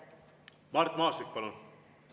Mart Maastik, palun!